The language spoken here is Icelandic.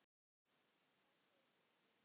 Heimir: Hvað segir þú, Logi?